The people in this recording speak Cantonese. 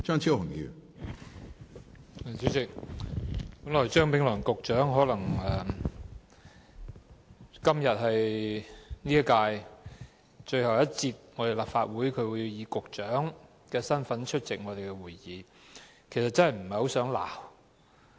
主席，今天是張炳良局長在本屆立法會最後一次以局長身份出席會議，我真的不想責罵他。